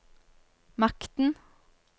makten